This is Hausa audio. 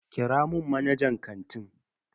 Kira mun manajan kantin.